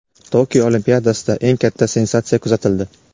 Tokio Olimpiadasida eng katta sensatsiya kuzatildi.